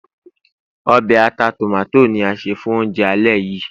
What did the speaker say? obe ata tomato ni a se fún ounjẹ alẹ́ yìí